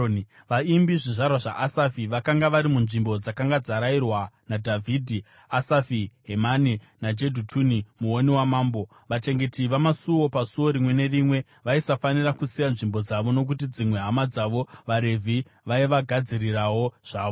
Vaimbi, zvizvarwa zvaAsafi, vakanga vari munzvimbo dzakanga dzarayirwa naDhavhidhi, Asafi, Hemani naJedhutuni muoni wamambo. Vachengeti vamasuo pasuo rimwe nerimwe vaisafanira kusiya nzvimbo dzavo nokuti dzimwe hama dzavo vaRevhi vaivagadzirirawo zvavo.